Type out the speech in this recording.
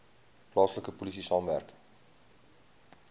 plaaslike polisie saamwerk